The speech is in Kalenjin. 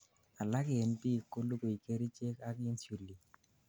alak en biik kolugui kerichek ak insulin